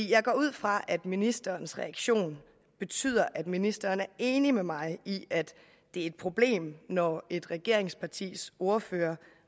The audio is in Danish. jeg går ud fra at ministerens reaktion betyder at ministeren er enig med mig i at det er et problem når et regeringspartis ordfører